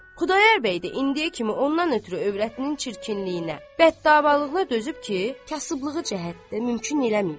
Xudayar bəy də indiyə kimi ondan ötrü övrətinin çirkinliyinə, bəd-davalığına dözüb ki, kasıblığı cəhətdə mümkün eləməyib.